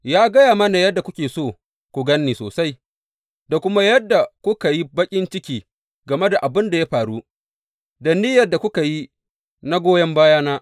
Ya gaya mana yadda kuke so ku gan ni sosai, da kuma yadda kuka yi baƙin ciki game da abin da ya faru, da niyyar da kuka yi na goyon bayana.